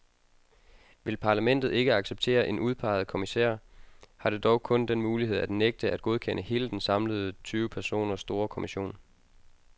Vil parlamentet ikke acceptere en udpeget kommissær, har det dog kun den mulighed at nægte at godkende hele den samlede tyve personer store kommission.